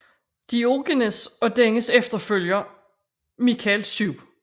Diogenes og dennes efterfølger Michael 7